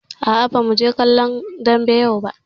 Aa, ba mu je kallon dambe yau ba